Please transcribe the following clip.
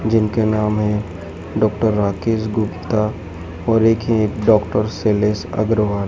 जिनका नाम है डॉक्टर राकेश गुप्ता और एक है डॉक्टर शैलेश अग्रवाल।